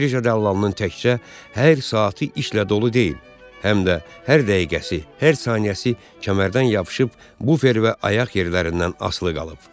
Birja dəllalının təkcə hər saatı işlə dolu deyil, həm də hər dəqiqəsi, hər saniyəsi kəmərdən yapışıb bufer və ayaq yerlərindən asılı qalıb.